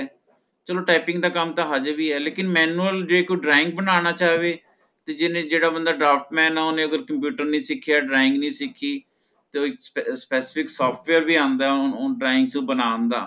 ਚਲੋ typing ਦਾ ਕੰਮ ਤਾ ਹਜੇ ਵੀ ਹੈ ਲੇਕਿਨ manual ਜੇ ਕੋਈ drawing ਬਨਾਣਾ ਚਾਹਵੇ ਤੇ ਜਿਨੀ ਜਿਹੜਾ ਬੰਦਾ draftsman ਹੈ ਓਹਨੇ ਅਗਰ computer ਨਹੀਂ ਸਿੱਖਿਆ drawing ਨਹੀਂ ਸਿੱਖੀ ਤੇ ਉਹ ਏ ਇਕ spec specific software ਆਉਂਦਾ ਹੈ ਓਹਨੂੰ ਓਹਨੂੰ drawing ਚੂ ਬਣਾਉਣ ਦਾ